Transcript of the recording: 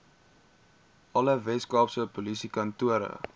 alle weskaapse polisiekantore